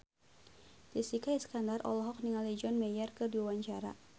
Jessica Iskandar olohok ningali John Mayer keur diwawancara